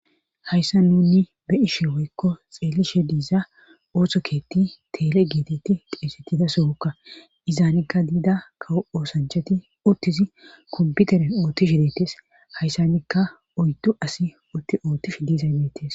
Hayssa nunni be'ishe woykko xeelishe diiza oothto keetti teele geetetti xeessettida sookka izaanekka diida kawo oosanchati uttizi komputere oothtishi deettes hayssanikka oyddu asi utti oottif diizaybeetes.